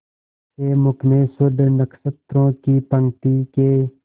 से मुख में शुद्ध नक्षत्रों की पंक्ति के